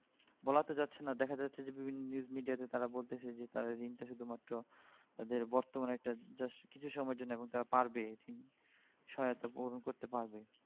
বলা তো যাচ্ছে না দেখা যাচ্ছে যে বিভিন্ন news media তে তারা বলছে যে তাদের ঋনটা শুধু মাত্র তাদের বর্তমানের একটা just কিছু সময়ের জন্য এখন তারা পার পেয়ে গেছেন সহায়তা পূরণ করতে পারবে